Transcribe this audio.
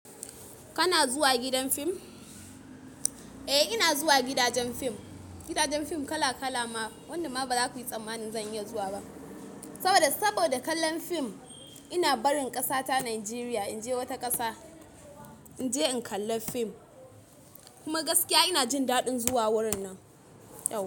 Kana zuwa gidan fim? Eh, ina zuwa gidajen fim. Gidajen fim kala kala ma. Wannan ma ba za ku yi tsammani zan iya zuwa ba. Saboda, saboda kallon fim ina barin ƙasa ta Najeriya in je wata ƙasa, in je in kalla fim. Kuma gaskiya ina jin daɗin zuwa wurin nan yau.